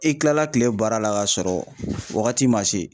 I kilala kile baara la k'a sɔrɔ wagati man se.